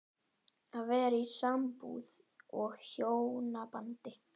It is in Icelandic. Að vera í sambúð og hjónabandi